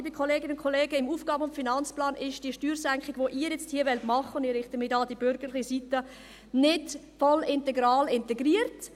Liebe Kolleginnen und Kollegen, im AFP ist die Steuersenkung, die Sie nun hier machen wollen – und ich richte mich hier an die bürgerliche Seite –, nicht voll integral integriert.